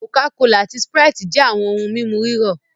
Coca-Cola ati Sprite jẹ awọn ohun mímu rírọ̀